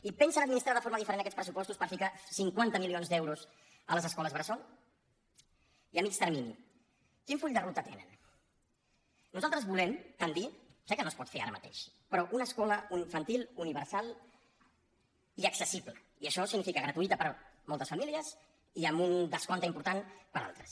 i pensen administrar de forma diferent aquests pressupostos per posar cinquanta milions d’euros a les escoles bressol i a mitjà termini quin full de ruta tenen nosaltres volem tendir sé que no es pot fer ara mateix a una escola infantil universal i accessible i això significa gratuïta per a moltes famílies i amb un descompte important per a altres